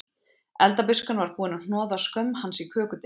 Eldabuskan var búin að hnoða skömm hans í kökudeigið